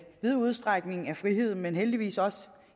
vid udstrækning er frihed men heldigvis også